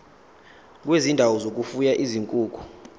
kwezindawo zokufuya izinkukhu